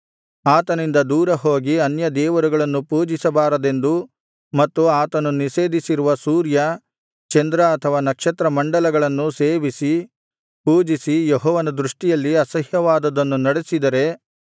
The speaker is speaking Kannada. ಆತನಿಂದ ದೂರಹೋಗಿ ಅನ್ಯದೇವರುಗಳನ್ನು ಪೂಜಿಸಬಾರದೆಂದು ಮತ್ತು ಆತನು ನಿಷೇಧಿಸಿರುವ ಸೂರ್ಯ ಚಂದ್ರ ಅಥವಾ ನಕ್ಷತ್ರಮಂಡಲವನ್ನಾಗಲಿ ಸೇವಿಸಿ ಪೂಜಿಸಿ ಯೆಹೋವನ ದೃಷ್ಟಿಯಲ್ಲಿ ಅಸಹ್ಯವಾದದ್ದನ್ನು ನಡಿಸಿದರೆ